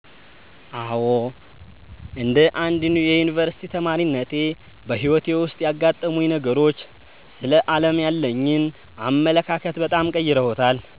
አዎ፣ እንደ አንድ የዩኒቨርሲቲ ተማሪነቴ በሕይወቴ ውስጥ ያጋጠሙኝ ነገሮች ስለ ዓለም ያለኝን አመለካከት በጣም ቀይረውታል።